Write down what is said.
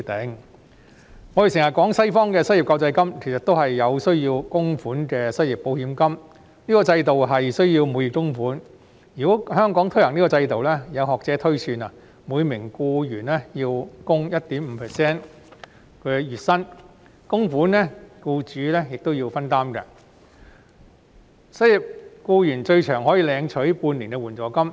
我們經常提到西方的失業救濟金，其實亦是需要供款的失業保險金，這個制度需要每月供款，如果香港推行這個制度，有學者推算，每名僱員要供款月薪的 1.5%， 僱主亦要分擔供款，失業僱員最長可領取援助金半年。